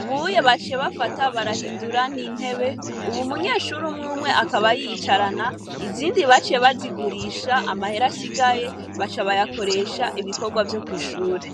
ubuye baciye bafata barahindura intebe, ub'umunyeshure umw'umwe akaba yiyicarana izindi baciye bazigurisaha, amahera asigaye baca bayakoresha ibikorwa vyo kw'ishure.